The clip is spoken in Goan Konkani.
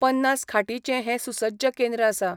पन्नास खाटींचे हे सुसज्ज केंद्र आसा.